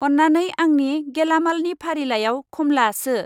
अन्नानै आंनि गेलामालनि फारिलाइआव खमला सो।